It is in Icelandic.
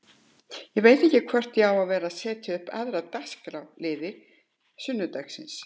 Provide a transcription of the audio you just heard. Ég veit ekki hvort ég á að vera að telja upp aðra dagskrárliði sunnudagsins.